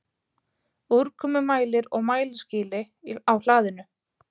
Úrkomumælir og mælaskýli á hlaðinu.